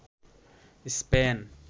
Spain